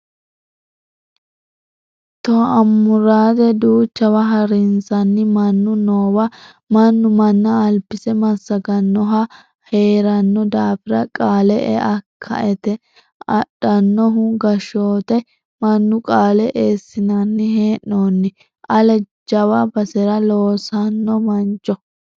To amurate duuchawa harinsanni mannu noowa mannu manna albise massaganohu heerano daafira qaale e"e kaeti adhanohu gashote mannu ,qaale eesssinanni hee'noni ale jawa basera loossano mancho.